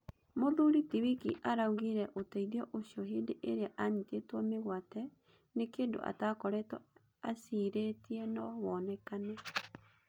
Mũthuri ti Wiki araugĩre ũteithĩo ũcio hĩndĩ ĩrĩa anyitĩtwo mĩgwate nĩ kĩndũatakoretwo acirĩtie no wonekane.